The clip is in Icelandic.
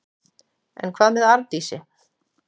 En hvað með Arndísi?